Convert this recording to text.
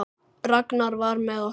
Ragnar var með okkur.